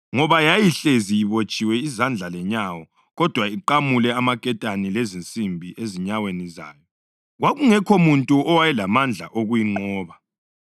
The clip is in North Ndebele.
Ngoba yayihlezi ibotshiwe izandla lenyawo, kodwa iqamule amaketane lezinsimbi ezinyaweni zayo. Kwakungekho muntu owayelamandla okuyinqoba.